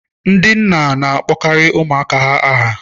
Ndi na-akpọkarị ụmụaka ha aha.